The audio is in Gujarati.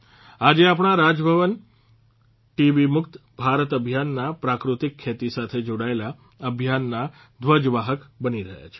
આજે આપણા રાજભવન ટીબી મુક્ત ભારત અભિયાનના પ્રાકૃતિક ખેતી સાથે જોડાયેલા અભિયાનના ધ્વજવાહક બની રહ્યા છે